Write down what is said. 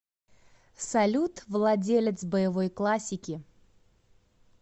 салют владелец боевой классики